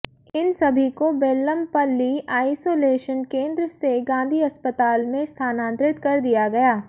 इन सभी को बेल्लमपल्ली आइसोलेशन केंद्र से गांधी अस्पताल में स्थानांतरित कर दिया गया